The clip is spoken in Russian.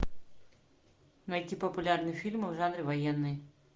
найти популярные фильмы в жанре военный